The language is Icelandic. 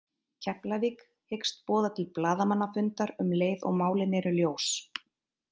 Keflavík hyggst boða til blaðamannafundar um leið og málin eru ljós.